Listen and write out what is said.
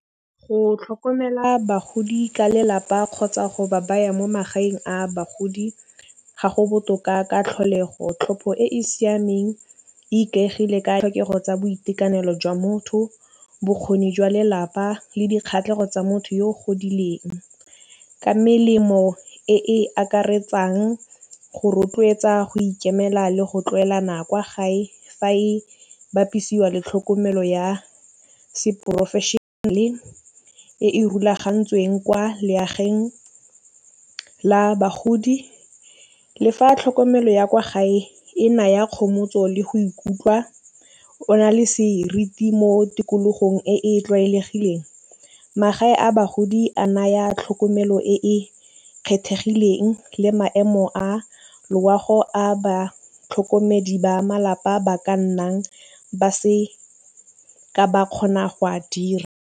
Go tlhokomela bagodi ka lelapa kgotsa go ba baya mo magaeng a bagodi, ga go botoka ka tlholego. Tlhopho e e siameng e ikaegile ka tlhokego tsa boitekanelo jwa motho, bokgoni jwa lelapa le dikgatlhegelo tsa motho yo o godileng. Ka melemo e e akaretsang go rotloetsa, go ikemela le go tlwaelana kwa gae fa e bapisiwa le tlhokomelo ya se professional-e e e rulagantsweng kwa legaeng la bagodi, le fa tlhokomelo ya kwa gae e naya kgomotso le go ikutlwa o na le seriti mo tikologong e e tlwaelegileng, magae a bagodi e a naya tlhokomelo e e kgethegileng le maemo a loago a batlhokomedi ba malapa ba ka nnang ba se ka ba kgona go a dira.